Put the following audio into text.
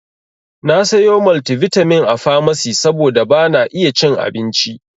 Na sayo maltivitamin a famasi saboda bana iya cin abincin.